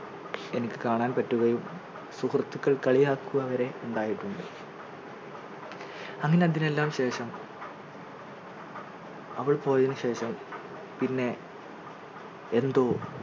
എനിക്ക് കാണാൻ പറ്റുകയും സുഹൃത്തുക്കൾ കളിയാക്കുക വരെ ഉണ്ടായിട്ടുണ്ട് അങ്ങനെ അതിനെല്ലാം ശേഷം അവൾ പോയതിന് ശേഷം പിന്നെ എന്തോ